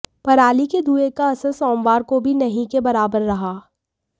पराली के धुएं का असर सोमवार को भी नहीं के बराबर रहा